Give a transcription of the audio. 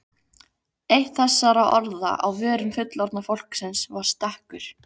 Eitt þessara orða á vörum fullorðna fólksins var stekkur.